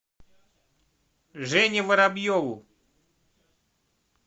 жене воробьеву